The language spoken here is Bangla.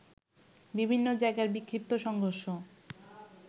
বিভিন্ন জায়গায় বিক্ষিপ্ত সংঘর্ষ